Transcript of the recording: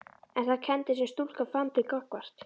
En þær kenndir sem stúlkan fann til gagnvart